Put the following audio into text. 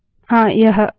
हाँ यह हुआ